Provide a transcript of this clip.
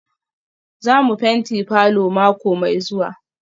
Za mu fenti falor mako mai zuwa?